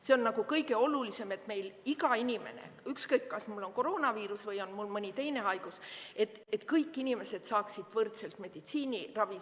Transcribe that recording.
See on kõige olulisem, et meil iga inimene, ükskõik kas tal on koroonaviirus või on tal mõni teine haigus, et kõik inimesed saaksid võrdselt meditsiiniabi.